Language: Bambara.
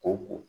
Ko